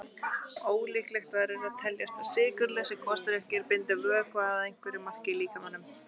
Ólíklegt verður að teljast að sykurlausir gosdrykkir bindi vökva að einhverju marki í líkamanum.